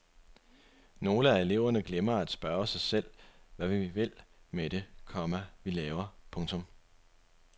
Nogle af eleverne glemmer at spørge sig selv hvad vi vil med det, komma vi laver. punktum